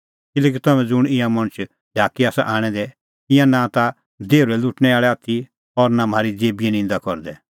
किल्हैकि तम्हैं ज़ुंण ईंयां मणछ ढाकी आसा आणै दै ईंयां नां ता देहुरै लुटणैं आल़ै आथी और नां म्हारी देबीए निंदा करदै